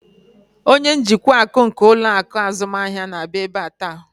Onye njikwa akụ nke ụlọ akụ azụmahịa na-abịa ebe a taa.